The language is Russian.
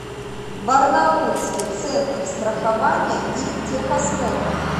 барнаульский центр страхования и техосмотра